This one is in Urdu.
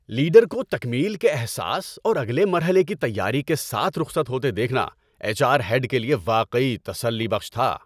لیڈر کو تکمیل کے احساس اور اگلے مرحلے کی تیاری کے ساتھ رخصت ہوتے دیکھنا ایچ آر ہیڈ کے لیے واقعی تسلی بخش تھا۔